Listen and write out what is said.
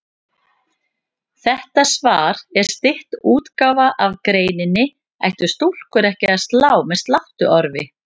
Þetta svar er stytt útgáfa af greininni Ættu stúlkur ekki að slá með sláttuorfi?